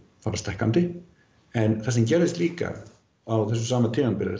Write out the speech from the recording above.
fara stækkandi en það sem gerðist á sama tímabili er